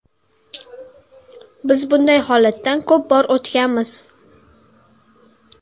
Biz bunday holatdan ko‘p bor o‘tganmiz.